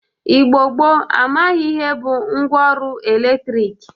Igbo gboo amaghị ihe bụ ngwa ọrụ eletrik.